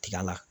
Tiga la